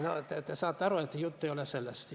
No te saate aru, et jutt ei ole sellest.